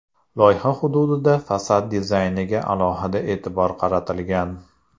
Loyiha hududida fasad dizayniga alohida e’tibor qaratilgan.